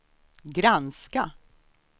granska